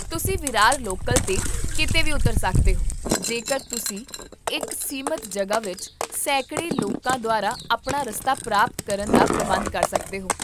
ਤੁਸੀਂ ਵਿਰਾਰ ਲੋਕਲ 'ਤੇ ਕੀਤੇ ਵੀ ਉਤਰ ਸਕਦੇ ਹੋ ਜੇਕਰ ਤੁਸੀਂ ਇੱਕ ਸੀਮਤ ਜਗ੍ਹਾ ਵਿੱਚ ਸੈਂਕੜੇ ਲੋਕਾਂ ਦੁਆਰਾ ਆਪਣਾ ਰਸਤਾ ਪ੍ਰਾਪਤ ਕਰਨ ਦਾ ਪ੍ਰਬੰਧ ਕਰ ਸਕਦੇ ਹੋ